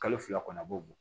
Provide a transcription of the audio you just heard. Kalo fila kɔnɔ a b'o bɔ